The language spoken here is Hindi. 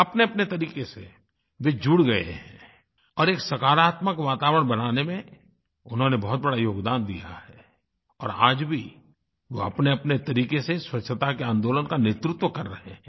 अपनेअपने तरीक़े से वे जुड़ गए हैं और एक सकारात्मक वातावरण बनाने में उन्होंने बहुत बड़ा योगदान दिया है और आज भी वो अपनेअपने तरीक़े से स्वच्छता के आंदोलन का नेतृत्व कर रहे हैं